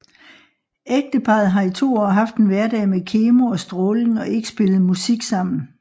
Ægteparret har i to år haft en hverdag med kemo og stråling og ikke spillet musik sammen